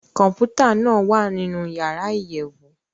Kọmputa naa wa ninu yara iyẹwu.